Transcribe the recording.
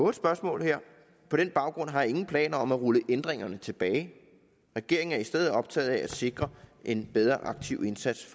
et spørgsmål på den baggrund har jeg ingen planer om at rulle ændringerne tilbage regeringen er i stedet optaget af at sikre en bedre aktiv indsats